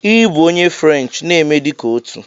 Ị bụ onye French, na-eme dị ka otu!